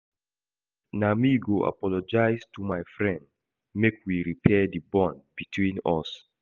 Na me go apologize to my friend make we repair di bond between us.